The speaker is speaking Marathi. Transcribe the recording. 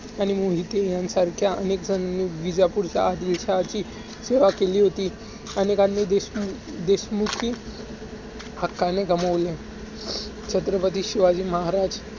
त्यांनी मोहिते ह्यांसारख्या अनेकजन विजापूरच्या आदिलशहाची सेवा केली होती. अनेकांनी देशमू~ देशमुखी हक्कानी गमावले आहेत. छत्रपती शिवाजी महाराज